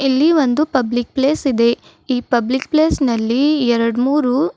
ಇಲ್ಲಿ ಒಂದು public place ಇದೆ ಈ ಪಬ್ಲಿಕ್ ಪ್ಲೇಸ್ ನಲ್ಲಿ ಎರಡ್ ಮೂರು--